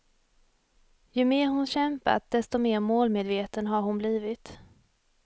Ju mer hon kämpat, desto mer målmedveten har hon blivit.